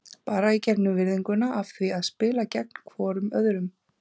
Bara í gegnum virðinguna af því að spila gegn hvorum öðrum.